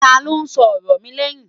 tá ló sọ ọrọ mí lèyìn?